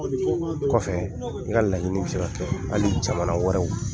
Kɔfɛ n ka laɲini bɛ se ka kɛ hali jamana wɛrɛw.